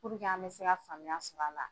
Purike an bɛ se ka faamuya sɔr'a la.